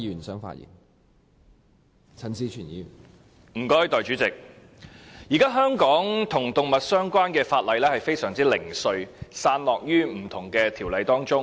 代理主席，現時香港與動物有關的法例非常零碎，散落於不同的條例中。